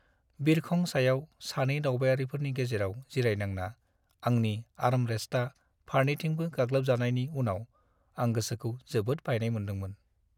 बिरखं सायाव सानै दावबायारिफोरनि गेजेराव जिरायनांना आंनि आर्मरेस्टआ फारनैथिंबो गाग्लोबजानायनि उनाव आं गोसोखौ जोबोद बायनाय मोनदोंमोन।